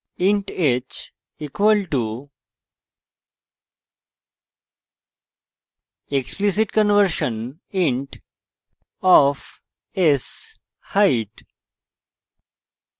int h equal to explicit conversion int of sheight এবং